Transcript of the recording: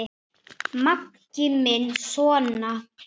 Maggi minn sona!